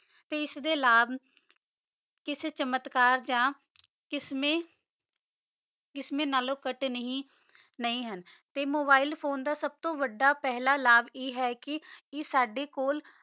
ਤੇ ਏਸ ਦੇ ਲਾਪ ਏਸ ਚਮਤਕਾਰ ਚ ਇਸ੍ਮੇ ਆਲੋੰ ਕਤ ਨਹੀ ਨਹੀ ਹਨ ਤੇ ਮੋਬਿਲੇ ਫੋਨੇ ਦਾ ਸਬ ਤੋ ਵਾਦਾ ਲਾਪ ਆਯ ਹੈ ਕੀ ਈਯ ਸਾਡੇ ਕੋਲ